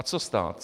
A co stát?